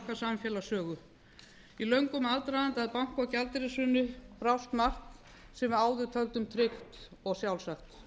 okkar samfélagssögu í löngum aðdraganda að banka og gjaldeyrishruni brást margt sem við áður töldum tryggt og sjálfsagt